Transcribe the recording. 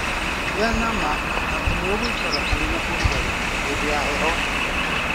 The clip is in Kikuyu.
Gĩa na ma atĩ nĩ ũgũikara ũrĩ na ũrugarĩ hĩndĩ ya heho.